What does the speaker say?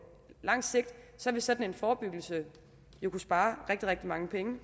lang sigt vil sådan en forebyggelse jo kunne spare rigtig rigtig mange penge